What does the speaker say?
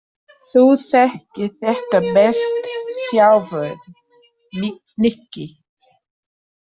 Þú þekkir þetta best sjálfur, Nikki.